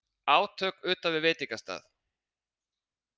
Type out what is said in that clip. Átök utan við veitingastað